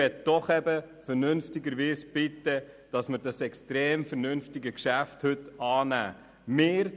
Ich möchte Sie vernünftigerweise bitten, dieses sehr vernünftige Geschäft anzunehmen.